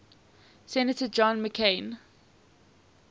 senator john mccain